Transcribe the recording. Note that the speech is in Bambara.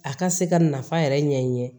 A ka se ka nafa yɛrɛ ɲɛɲini